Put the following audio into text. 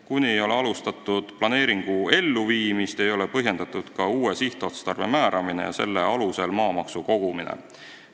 Kuni ei ole alustatud planeeringu elluviimist, ei ole põhjendatud ka uue sihtotstarbe määramine ja selle alusel maamaksu võtmine.